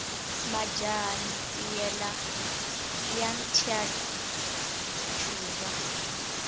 majaha ntiyela ya thya ncuva